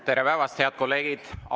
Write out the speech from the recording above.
Tere päevast, head kolleegid!